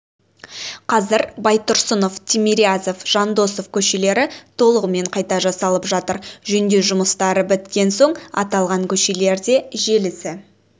қазір байтұрсынов тимирязев жандосов көшелері толығымен қайта жасалып жатыр жөндеу жұмыстары біткен соң аталған көшелерде желісі